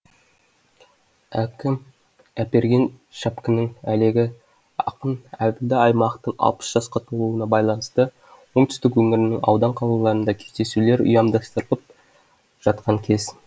әкім әперген шапкінің әлегі ақын әбілда аймақтың алпыс жасқа толуына байланысты оңтүстік өңірінің аудан қалаларында кездесулер ұйямдастырылып жатқан кез